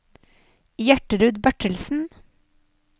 Gjertrud Bertelsen